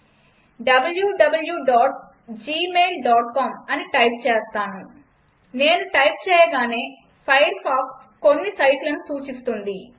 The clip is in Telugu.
wwwgmailcom అని టైప్ చేస్తాను నేను టైప్ చేయగానే ఫైర్ఫాక్స్ కొన్ని సైట్లను సూచిస్తుంది